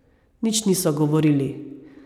Nič niso govorili.